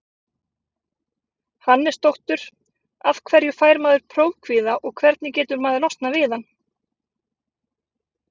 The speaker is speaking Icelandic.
Hannesdóttur Af hverju fær maður prófkvíða og hvernig getur maður losnað við hann?